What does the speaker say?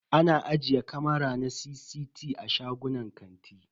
Ana ajiye kamara na CCT a shagunan kanti.